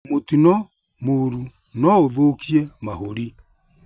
Mũtino mũru noũthũkie mahũri